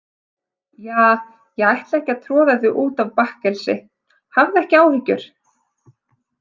Ja, ég ætla ekki að troða þig út af bakkelsi, hafðu ekki áhyggjur.